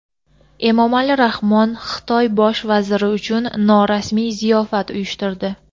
Emomali Rahmon Xitoy bosh vaziri uchun norasmiy ziyofat uyushtirdi.